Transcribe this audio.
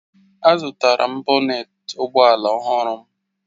Azụtara m bonet maka ụgbọ ala ọhụrụ m